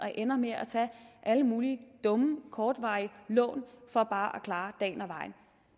ender med at tage alle mulige dumme kortvarige lån for bare at klare dagen og vejen